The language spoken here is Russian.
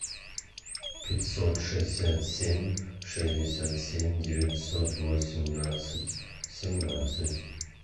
пятьсот шестьдесят семь шестьдесят семь девятьсот восемнадцать семнадцать